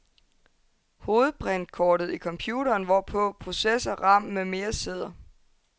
Hovedprintkortet i computeren, hvorpå processor, ram med mere sidder.